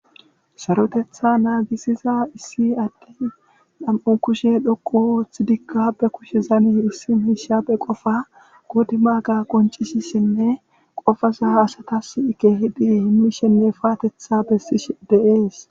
Sarotetha naagisiza issi adde dham7u kushe dhoqu oth dikabe kushe zani issi miishabe qofa godi maaga qoncishi shenne qofaza asatas ike hidi himmishenne paatetha bessish deees.